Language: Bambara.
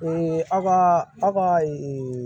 aw ka aw ka